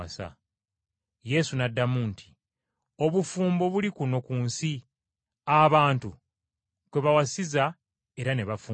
Yesu n’addamu nti, “Obufumbo buli kuno ku nsi, abantu kwe bawasiza era ne bafumbirwa.